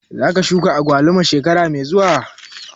Za ka shuka agwaluma shekara mai zuwa?